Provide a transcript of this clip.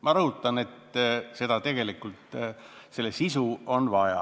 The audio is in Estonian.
Ma rõhutan, et tegelikult selle sisu on vaja.